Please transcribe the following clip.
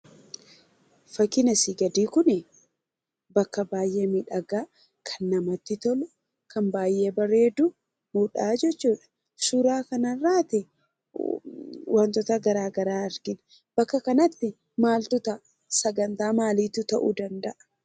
Fakkiin asii gadii kunii bakka baay'ee miidhagaa, kan namatti tolu, kan baay'ee bareedudhaa jechuudha. Suuraa kanarraati wantoota garaa garaa argina. Bakka kanatti maaltu ta'a? sagantaa maaliitu ta'uu danda'a?